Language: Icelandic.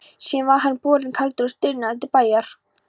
Síðan var hann borinn kaldur og stirðnaður til bæjar.